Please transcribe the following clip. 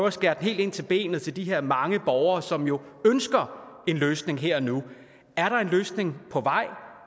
at skære helt ind til benet for de her mange borgere som jo ønsker en løsning her og nu er der en løsning på vej